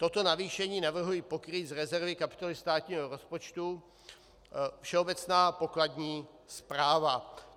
Toto navýšení navrhuji pokrýt z rezervy kapitoly státního rozpočtu Všeobecná pokladní správa.